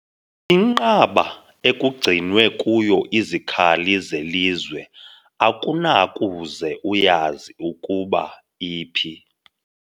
Inqaba ekugcinwe kuyo izikhali zelizwe akunakuze uyazi ukuba iphi.